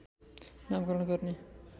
नामकरण गर्ने